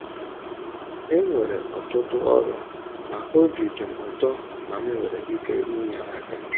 E nwere ọtụtụ ọrụ, ma obi dị m ụtọ na m nwere ike inye aka.